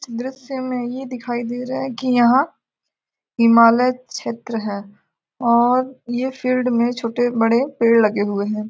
दृस्य में ये देखाई दे रहा है की यहाँ हिमालय क्षेत्र है और ये फील्ड में छोटे-बड़े पेड़ लगे हुए हैं।